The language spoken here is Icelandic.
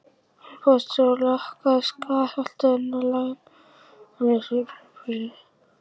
Hann pússaði og lakkaði skattholið hennar, lagaði gólfið í svefnherberginu.